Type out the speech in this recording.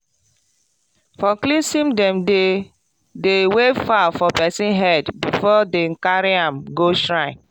for cleansing dem dey dey wave fowl for person head before dem carry am go shrine.